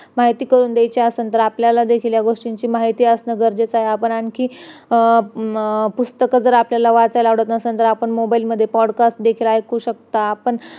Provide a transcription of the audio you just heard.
तेलाच्या मालिश मुळे वायूचे कार्य चांगले होते म्हणूनच तर अगदी लहान नवजात मुलांपासून तर म्हातारांन पर्यंत मालिश उपयुक्त आहे तेलाने जसे चमडे मजबूत होते .